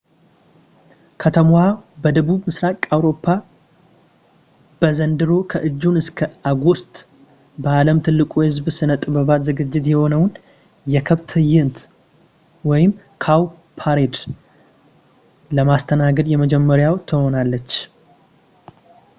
ከተማዋ በደቡብ ምሥራቅ አውሮፓ በዘንድሮ ከጁን እስከ ኦገስት በዓለም ትልቁ የሕዝብ ሥነ-ጥበባት ዝግጅት የሆነውን፣ የከብት ትዕይንት cowparade፣ ለማስተናገድ የመጀመሪያዋ ትሆናለች